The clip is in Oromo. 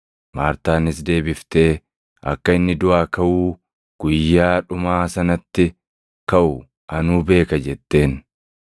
Maartaanis deebiftee, “Akka inni duʼaa kaʼuu guyyaa dhumaa sanatti kaʼu anuu beeka” jetteen.